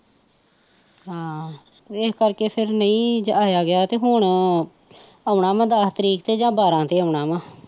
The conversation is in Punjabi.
ਹਾਂ ਏਸ ਕਰਕੇ ਫੇਰ ਨਹੀਂ ਆਇਆ ਗਿਆ ਤੇ ਹੁਣ ਆਉਣਾ ਆ ਦਸ ਤਰੀਕ ਤੇ ਜਾ ਬਾਰਾਂ ਤੇ ਆਉਣਾ ਵਾਂ